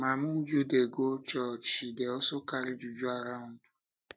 mama uju dey go church she dey also carry juju around